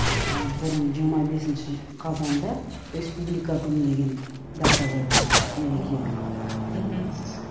ы бұрын жиырма бесінші қазанда республика күні деген дата болған мерекелік мхм